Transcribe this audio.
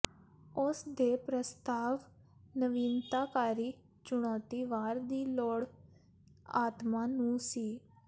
ਉਸ ਦੇ ਪ੍ਰਸਤਾਵ ਨਵੀਨਤਾਕਾਰੀ ਚੁਣੌਤੀ ਵਾਰ ਦੀ ਲੋੜ ਆਤਮਾ ਨੂੰ ਸੀ